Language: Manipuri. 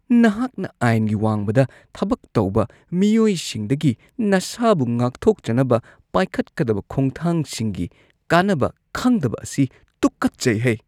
ꯅꯍꯥꯛꯅ ꯑꯥꯏꯟꯒꯤ ꯋꯥꯡꯃꯗ ꯊꯕꯛ ꯇꯧꯕ ꯃꯤꯑꯣꯏꯁꯤꯡꯗꯒꯤ ꯅꯁꯥꯕꯨ ꯉꯥꯛꯊꯣꯛꯆꯅꯕ ꯄꯥꯏꯈꯠꯀꯗꯕ ꯈꯣꯡꯊꯥꯡꯁꯤꯡꯒꯤ ꯀꯥꯟꯅꯕ ꯈꯪꯗꯕ ꯑꯁꯤ ꯇꯨꯀꯠꯆꯩꯍꯦ ꯫ (ꯄꯨꯂꯤꯁ)